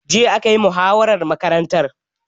Jiya akayi muhawaran makarantar